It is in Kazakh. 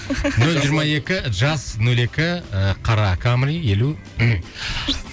нөл жиырма екі жас нөл екі ы қара камри елу ммм